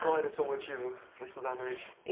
Qual era o seu motivo para estudar a noite?